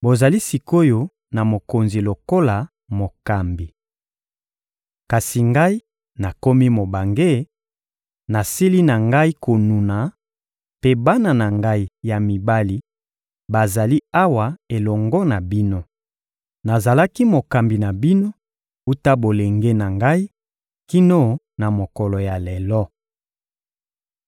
Bozali sik’oyo na mokonzi lokola mokambi. Kasi ngai nakomi mobange, nasili na ngai konuna, mpe bana na ngai ya mibali bazali awa elongo na bino. Nazalaki mokambi na bino wuta bolenge na ngai kino na mokolo ya lelo.